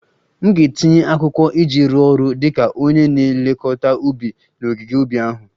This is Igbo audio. M ga-etinye akwụkwọ iji rụọ ọrụ dị ka onye na-elekọta ubi n'ogige ubi ahụ